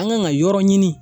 An kan ka yɔrɔ ɲini